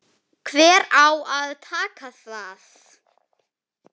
Hver á að taka það?